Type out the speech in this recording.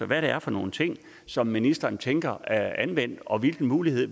hvad det er for nogle ting som ministeren tænker anvendt og hvilken mulighed